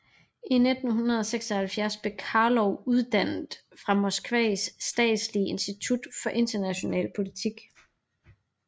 I 1976 blev Karlov uddannet fra Moskvas statslige institut for international politik